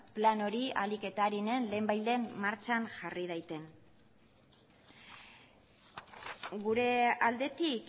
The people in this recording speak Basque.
plan hori ahalik eta arinen lehenbailehen martxan jarri dadin gure aldetik